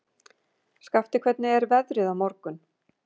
Skafti, hvernig er veðrið á morgun?